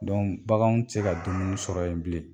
baganw tɛ se ka dumuni sɔrɔ yen bilen